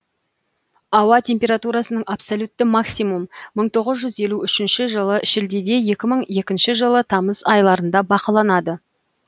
ауа температурасының абсолютті максимум мың тоғыз жүз елу үш жылы шілдеде екі мың екінші жылы тамыз айларында бақыланды